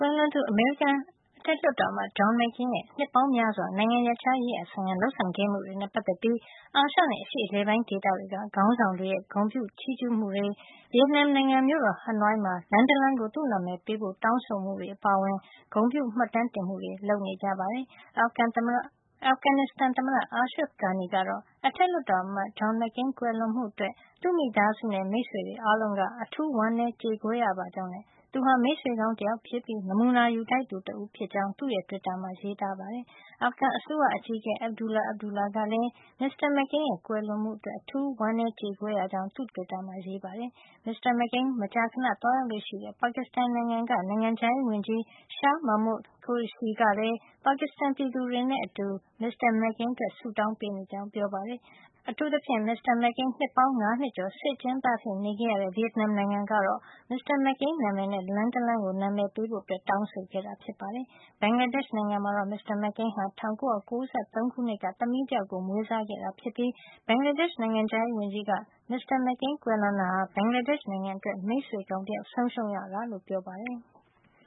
ွန်သူ အမေရိကန်လွှတ်တော်အမတ် John McCain ရဲ့ နှစ်ပေါင်းများစွာ နိုင်ငံရပ်ခြားရေးရာဆိုင်ရာ လုပ်ဆောင်ခဲမှုတွေနဲ့ ပတ်သက်ပြီး အာရှနဲ့ အရှေ့အလယ်ပိုင်းဒေသတွေက နိုင်ငံ့ခေါင်းဆောင်တွေရဲ့ ဂုဏ်ပြုချီးကြူးမှုတွေနဲ့ ဗီယက်နမ်နိုင်ငံ မြို့တော် ဟနွိုင်းမှာ လမ်းတလမ်းကို သူ့နာမည်ပေးဖို့ တောင်းဆိုမှုတွေ အပါအဝင် ဂုဏ်ပြုမှတ်တမ်းတင်မှုတွေ လုပ်ခဲ့ကြပါတယ်။ အာဖဂန်နစ္စတန် သမ္မတ Asharf Ghani ကတော့ အထက်လွှတ်တော်အမတ် John McCain ကွယ်လွန်မှုအတွက် သူ့မိသားစုနဲ့ မိတ်ဆွေတွေက ဝမ်းနည်းကြေကွဲရပါကြောင်းနဲ့ သူဟာ မိတ်ဆွေကောင်းဖြစ်ပြီး နမူနာယူထိုက်သူဖြစ်ကြောင်း သူ့တွစ်တာမှာ ရေးပါတယ်။ အာဖဂန်အစိုးရအကြီးအကဲ Abdullah Abdullah ကလည်း မစ္စတာMcCain ရဲ့ ကွယ်လွန်မှုအတွက် ဝမ်းနည်းရကြောင်း သူ့တွစ်တာမှာ ရေးပါတယ်။ မစ္စတာ McCain မကြာခဏ သွားရောက်လေ့ရှိတဲ့ ပါကစ္စတန်နိုင်ငံက နိုင်ငံခြားရေးဝန်ကြီး Shah Mahmood Qureshi ကလည်း ပါကစ္စတန်ပြည်သူတွေနဲ့အတူ ဆုတောင်းပေးနေကြောင်းပြောပါတယ်။ အထူးသဖြင့် မစ္စတာ မက်ကိန်း နှစ်ပေါင်း ၅ နှစ်ကျော် စစ်အကျဉ်းသားအဖြစ် နေခဲ့ရတဲ့ ဗီယက်နမ်နိုင်ငံကတော့ မစ္စတာ မက်ကိန်းနာမည်နဲ့ လမ်းတလမ်းကို နာမည်ပေးဖို့ တောင်းဆိုခဲ့တာပါ။ ဘင်္ဂလားဒေ့ရှ် နိုင်ငံမှာတော့ မစ္စတာ မက်ကိန်းဟာ ၁၉၉၃ ခုနှစ်က သမီးတယောက်ကို မွေးစားခဲ့တာ ဖြစ်ပြီး ဘင်္ဂလားဒေ့ရှ် နိုင်ငံခြားရေးဝန်ကြီးက မစ္စတာ မက်ကိန်း ကွယ်လွန်တာဟာ ဘင်္ဂလားဒေ့ရှ်အတွက် မိတ်ဆွေကောင်းတယောက် ဆုံးရှုံးရတာလို့ ပြောပါတယ်။